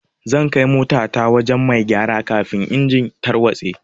Zan kai mota ta wajen mai gyara kafin engine tarwatse.